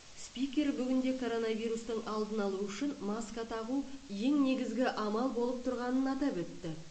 спикер бүгінде коронавирустың алдын алу үшін маска тағу ең негізі амал болып тұрғанын атап өтті